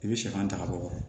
I bɛ sɛfan ta ka bɔ